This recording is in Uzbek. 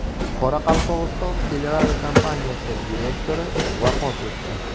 Qoraqalpog‘iston teleradiokompaniyasi direktori vafot etdi.